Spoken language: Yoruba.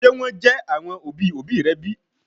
Ṣe wọn jẹ àwọn òbí òbí rẹ bi?